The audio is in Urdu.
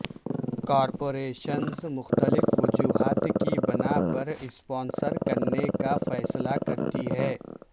کارپوریشنز مختلف وجوہات کی بناء پر اسپانسر کرنے کا فیصلہ کرتی ہیں